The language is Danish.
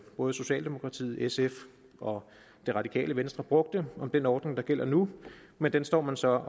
både socialdemokratiet sf og det radikale venstre brugte om den ordning der gælder nu men den står man så